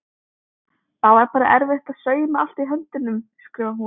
Það var bara erfitt að sauma allt í höndunum skrifar hún.